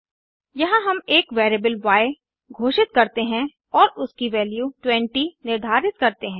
यहाँ हम एक वेरिएबल य घोषित करते हैं और उसकी वैल्यू 20 निर्धारित करते हैं